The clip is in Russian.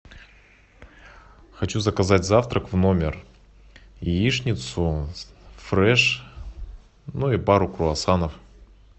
хочу заказать завтрак в номер яичницу фреш ну и пару круассанов